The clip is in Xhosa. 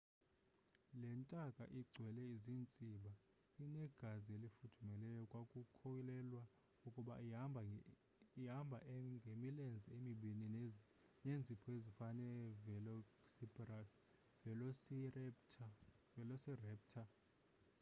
le ntaka igcwele ziintsiba inegazi elifudumeleyo kwakukholelwa ukuba ihamba e ngemilenze emibini neenzipho ezifana nevelociraptor